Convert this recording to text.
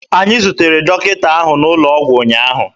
Anyị zutere dọkịta ahụ n'ụlọ ọgwụ ụnyaahụ.